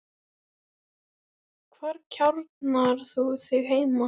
Hvar kjarnar þú þig heima?